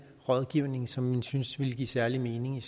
rådgivning som vi synes vil give særlig mening i